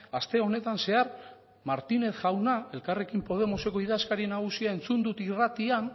aste honetan zehar martínez jauna elkarrekin podemoseko idazkari nagusia entzun dut irratian